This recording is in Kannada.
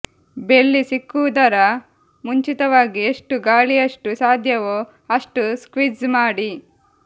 ಬೆಳ್ಳಿ ಸಿಕ್ಕಿಸುವುದರ ಮುಂಚಿತವಾಗಿ ಎಷ್ಟು ಗಾಳಿಯಷ್ಟು ಸಾಧ್ಯವೋ ಅಷ್ಟು ಸ್ಕ್ವೀಝ್ ಮಾಡಿ